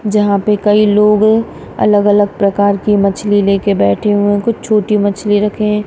जहां पे कई लोग अलग अलग प्रकार की मछली लेकर बैठे हुए हैं कुछ छोटी मछली रखे हैं।